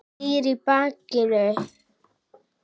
Snýr í mig bakinu.